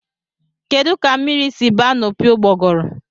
Kedụ ka mmiri si ba na opi ụgbogụrụ?